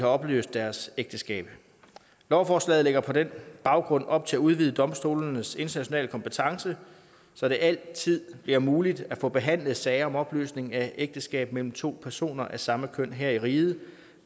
opløst deres ægteskab lovforslaget lægger på den baggrund op til at udvide domstolenes internationale kompetence så det altid bliver muligt at få behandlet sager om opløsning af ægteskab mellem to personer af samme køn her i riget